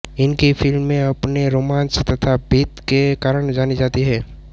इनकी फ़िल्में अपने रोमांच तथा भीत के कारण जानी जाती हैं